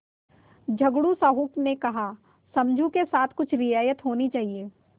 झगड़ू साहु ने कहासमझू के साथ कुछ रियायत होनी चाहिए